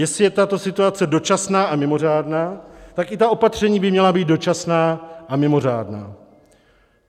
Jestli je tato situace dočasná a mimořádná, tak i ta opatření by měla být dočasná a mimořádná.